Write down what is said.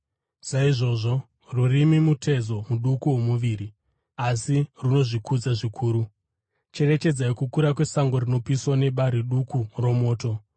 Saizvozvo, rurimi mutezo muduku womuviri, asi runozvikudza zvikuru. Cherechedzai kukura kwesango rinopiswa nebari duku romoto.